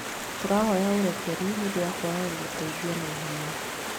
Tũrahoya ũrekeri nĩ ũndũ wa kwaga gũgũteithia na ihenya